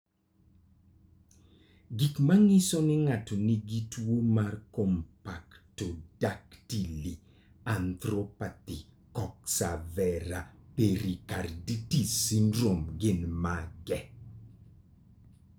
Gik manyiso ni ng'ato nigi tuwo mar Camptodactyly arthropathy coxa vara pericarditis syndrome gin mage?